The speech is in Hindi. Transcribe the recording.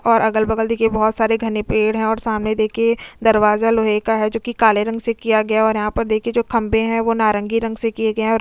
और अगल-बगल देखिए बहुत सारे घने पेड़ हैं और सामने देखिए दरवाजा लोहे का है जो कि काले रंग से किया गया है और यहां पर देखिए जो खंबे हैं वो नारंगी रंग से किए गए हैं और --